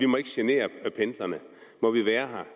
må genere pendlerne må vi være